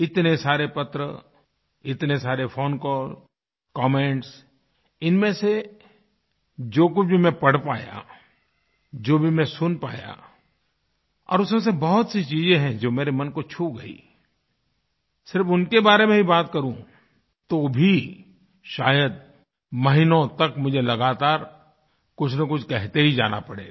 इतने सारे पत्र इतने सारे फोन कॉल कमेंट्सइनमें से जो कुछ भी मैं पढ़ पाया जो भी मैं सुन पाया और उसमें से बहुत सी चीजें हैं जो मेरे मन को छू गयी सिर्फ़ उनके बारे में ही बात करूँ तो भी शायद महीनों तक मुझे लगातार कुछनकुछ कहते ही जाना पड़ेगा